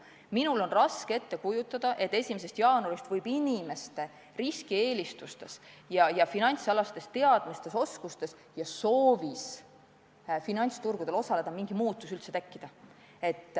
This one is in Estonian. Mul on raske ette kujutada, et 1. jaanuarist 2021 võib inimeste riskieelistustes ja finantsalastes teadmistes ja soovis finantsturgudel osaleda mingi muutus tekkida.